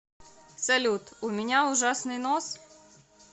салют у меня ужасный нос